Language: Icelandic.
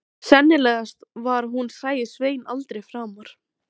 Sennilegast var að hún sæi Svein aldrei framar.